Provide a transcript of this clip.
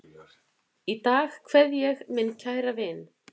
Í dag kveð ég minn kæra vin.